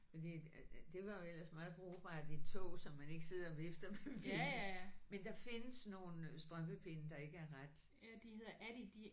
Fordi at at det var jo ellers meget brugbart i tog så man ikke sidder og vifter med pindene. Men der findes nogle strømpepinde der ikke er ret